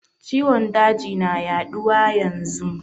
Ciwon daji na yaduwa yanzun.